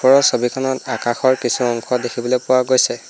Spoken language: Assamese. ওপৰৰ ছবিখনত আকাশৰ কিছু অংশ দেখিবলৈ পোৱা গৈছে।